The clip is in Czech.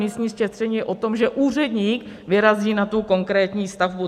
Místní šetření je o tom, že úředník vyrazí na tu konkrétní stavbu.